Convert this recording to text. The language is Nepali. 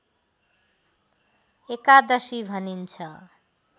एकादशी भनिन्छ